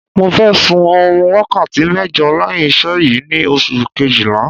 Mo fẹ́ sun oorun wákàtí mẹ́jọ lẹ́yìn iṣẹ́ yìí ni oṣù kejìlá